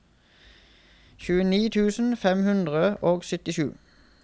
tjueni tusen fem hundre og syttisju